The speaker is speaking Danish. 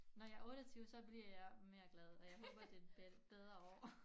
Når jeg 28 så bliver jeg mere glad og jeg håber det bliver et bedre år